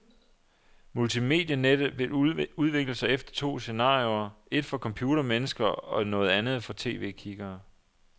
Multimedianettet vil udvikle sig efter to scenarioer, et for computermennesker og et noget andet for tv-kiggere.